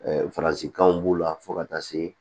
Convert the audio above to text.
Ɛɛ faransikanw b'u la fo ka taa se